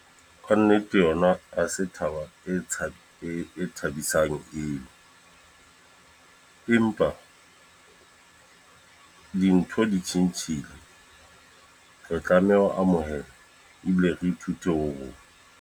Ka nnete yona ha se thaba e tsha e thabisang eo. Empa dintho di tjhentjhile. Re tlameha ho amohela ebile re ithute ho moo.